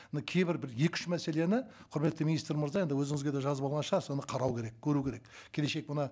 мына кейбір бір екі үш мәселені құрметті министр мырза енді өзіңізге де жазып алған шығарсыз оны қарау керек көру керек келешек бұны